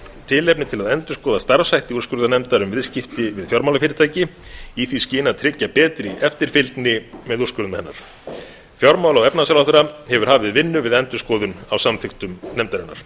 tilefni til að endurskoða starfshætti úrskurðarnefndar um viðskipti við fjármálafyrirtæki í því skyni að tryggja betri eftirfylgni með úrskurðum hennar fjármála og efnahagsráðherra hefur hafið vinnu við endurskoðun á samþykktum nefndarinnar